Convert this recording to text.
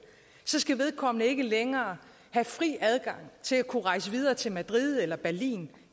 skal vedkommende ikke længere have fri adgang til at kunne rejse videre til madrid eller berlin